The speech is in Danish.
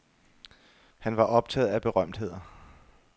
Han var optaget af berømtheder.